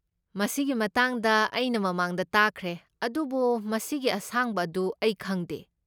ꯃꯁꯤꯒꯤ ꯃꯇꯥꯡꯗ ꯑꯩꯅ ꯃꯃꯥꯡꯗ ꯇꯥꯈ꯭ꯔꯦ, ꯑꯗꯨꯕꯨ ꯃꯁꯤꯒꯤ ꯑꯁꯥꯡꯕ ꯑꯗꯨ ꯑꯩ ꯈꯪꯗꯦ꯫